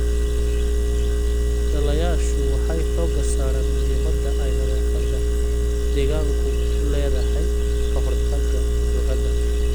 Dhallayaashu waxay xooga saaraan muhiimada ay nadaafadda deegaanku u leedahay ka hortagga cudurada.